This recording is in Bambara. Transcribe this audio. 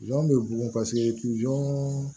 bɛ bugun paseke